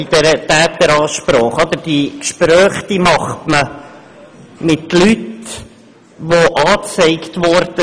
Diese Gespräche macht man mit Leuten, die angezeigtwurden.